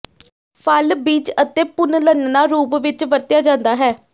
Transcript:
ਫਲ ਭਿੱਜ ਅਤੇ ਭੁੰਲਨਆ ਰੂਪ ਵਿੱਚ ਵਰਤਿਆ ਜਾਦਾ ਹੈ